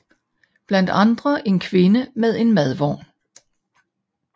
Blandt andre en kvinde med en madvogn